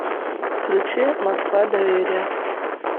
включи москва доверие